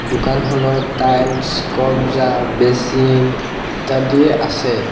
দোকানখনত টাইলছ কবর্জ্জা বেচিন ইত্যাদি আছে।